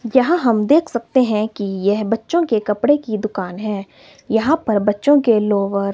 यहां हम देख सकते हैं कि यह बच्चों के कपड़े की दुकान है यहां पर बच्चों के लोअर --